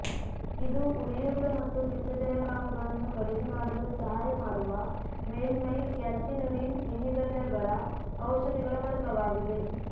ಇದು ಉರಿಯೂತ ಮತ್ತು ಪಿತ್ತಜನಕಾಂಗಗಳನ್ನು ಕಡಿಮೆ ಮಾಡಲು ಸಹಾಯ ಮಾಡುವ ಮೇಲ್ಮೈ ಕ್ಯಾಲ್ಸಿನುರಿನ್ ಇನ್ಹಿಬಿಟರ್ಗಳ ಔಷಧಿಗಳ ವರ್ಗವಾಗಿದೆ